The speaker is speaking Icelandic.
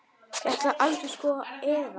Ég ætlaði aldrei, sko, eða.